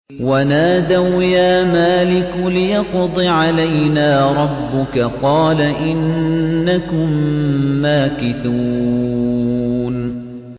وَنَادَوْا يَا مَالِكُ لِيَقْضِ عَلَيْنَا رَبُّكَ ۖ قَالَ إِنَّكُم مَّاكِثُونَ